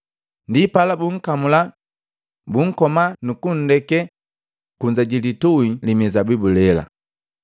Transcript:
Ndipala bunkamula, bunkoma nukundekee kunza ji litui li mizabibu lela.”